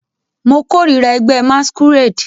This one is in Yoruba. Mo korira ẹgbẹ masquerade